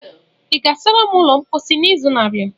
ị ga-asara m ụlọ mposi n'izu na-abịa?